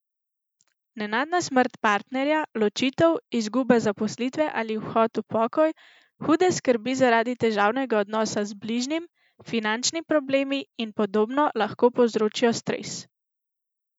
Nenadna smrt partnerja, ločitev, izguba zaposlitve ali odhod v pokoj, hude skrbi zaradi težavnega odnosa z bližnjim, finančni problemi in podobno lahko povzročijo stres.